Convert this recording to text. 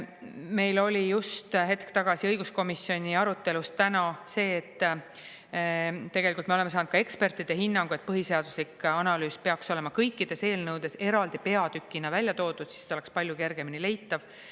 Meil oli just hetk tagasi õiguskomisjoni arutelus täna see, et tegelikult me oleme saanud ka ekspertide hinnangu, et põhiseaduslik analüüs peaks olema kõikides eelnõudes eraldi peatükina välja toodud, siis ta oleks palju kergemini leitav.